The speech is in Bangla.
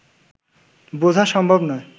বোঝা সম্ভব নয়